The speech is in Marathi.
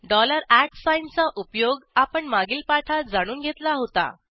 डॉलर चा उपयोग आपण मागील पाठात जाणून घेतला होता